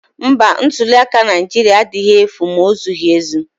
Mba, ntuliaka Naijiria adịghị efu ma ozighi ezi